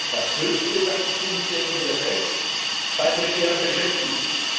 Das höchste Wachstum stellen wir fest bei prekärer Beschäftigung.